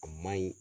A ma ɲi